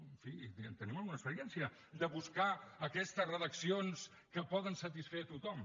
en fi tenim alguna experiència de buscar aquestes redaccions que poden satisfer tothom